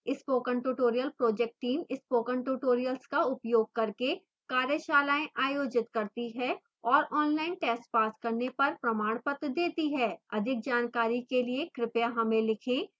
spoken tutorial project team spoken tutorials का उपयोग करके कार्यशालाएँ आयोजित करती है और online tests पास करने पर प्रमाणपत्र देती है अधिक जानकारी के लिए कृपया हमें लिखें